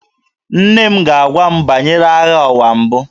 Nne m ga-agwa m banyere Agha Ụwa Mbụ